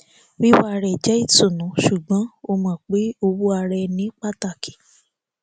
wíwà rẹ jẹ ìtùnú ṣùgbọn ó mọ pé òwò ara ẹni pàtàkì